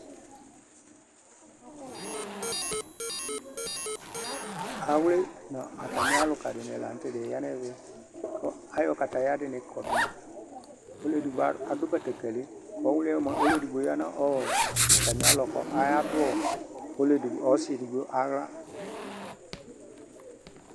Awlɩ nu amɩaluƙaɗɩnɩ lanutɛ aƴanu ɛmɛ aƴɔ kataƴaɗɩnɩ ƙɔɗuma ɔlu eɗɩgɓo aɗu ɓeteƙelɩ ɔlu eɗɩgbo ɔyanu ɔwlɩɛ nɩ atamɩalɔ ƙu aƙaɗu ɔsɩ eɗɩgɓo aɣla